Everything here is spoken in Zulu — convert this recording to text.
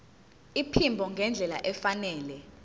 iphimbo ngendlela efanele